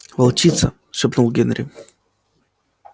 волчица шепнул генри